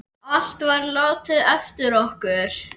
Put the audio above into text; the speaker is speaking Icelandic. Allt var látið eftir okkur.